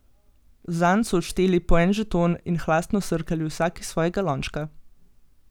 Zanj so odšteli po en žeton in hlastno srkali vsak iz svojega lončka.